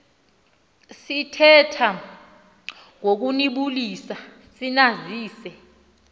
sithetha ngokubulisa sinazise